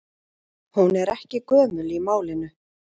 Hún er ekki gömul í málinu.